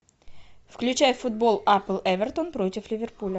включай футбол апл эвертон против ливерпуля